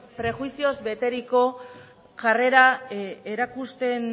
prejuizioz beteriko jarrera erakusten